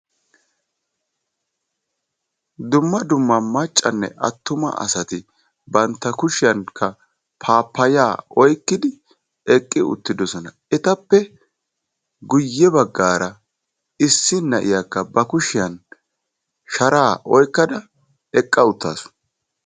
Dumma dumma maccanne attuma asati bantta kushiyankka paappayaa oyqqidi eqqi uttidosona. Etappe guyye baggaara issi na'iyakka ba kushiyan sharaa oyqqada eqqa uttaasu.